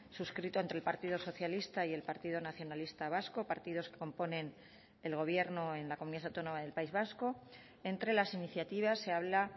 suscrito entre el partido socialista y el partido nacionalista vasco partidos que componen el gobierno en la comunidad autónoma del país vasco entre las iniciativas se habla